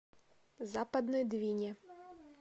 западной двине